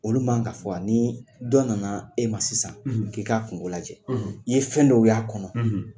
Olu man kan ka fɔ wa ? Ni dɔ nana e ma sisan, , k'i k'a kungo lajɛ. , N'i ye fɛn dɔw y'a kɔnɔ.